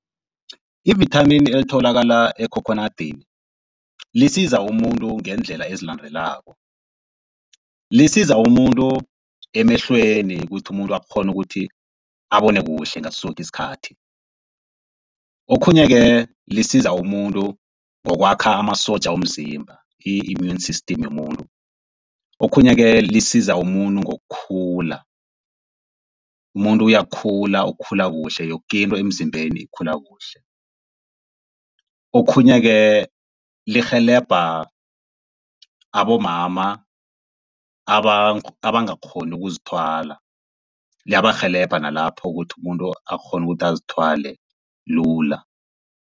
Ivithamini elitholakala ekhokhonadini lisiza umuntu ngeendlela ezilandelako, lisiza umuntu emehlweni kuthi umuntu akghone ukuthi abone kuhle ngaso soke isikhathi. Okhunye-ke lisiza umuntu ngokwakha amasotja womzimba i-immune system yomuntu. Okhunye-ke lisiza umuntu ngokukhula, umuntu uyakhula ukukhula kuhle yokinto emzimbeni ikhula kuhle. Okhunye-ke lirhelebha abomama abangakghoni ukuzithwala, liyabarhelebha nalapho ukuthi umuntu akghone ukuthi azithwale lula.